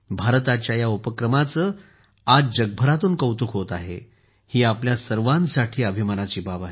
भारताच्या या उपक्रमाचे आज जगभरातून कौतुक होत आहे ही आपल्या सर्वांसाठी अभिमानाची बाब आहे